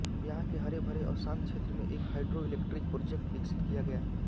यहां के हरेभरे और शांत क्षेत्र में एक हाइड्रो इलेक्ट्रिक प्रोजेक्ट विकसित किया गया है